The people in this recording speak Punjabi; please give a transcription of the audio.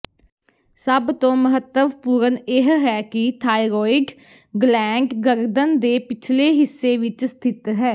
ਸਭ ਤੋਂ ਮਹੱਤਵਪੂਰਨ ਇਹ ਹੈ ਕਿ ਥਾਈਰੋਇਡ ਗਲੈਂਡ ਗਰਦਨ ਦੇ ਪਿਛਲੇ ਹਿੱਸੇ ਵਿੱਚ ਸਥਿਤ ਹੈ